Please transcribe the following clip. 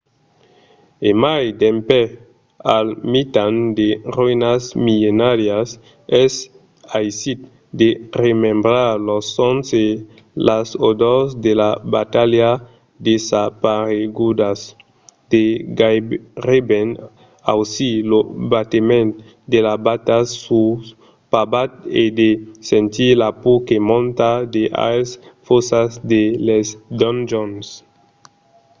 e mai dempè al mitan de roïnas millenàrias es aisit de remembrar los sons e las odors de las batalhas desaparegudas de gaireben ausir lo batement de las batas sul pavat e de sentir la paur que monta de aes fòssas de les donjons